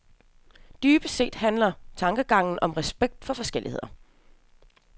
Dybest set handler tankegangen om respekten for forskellighed.